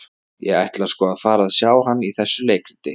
Ég ætla sko að fara og sjá hann í þessu leikriti.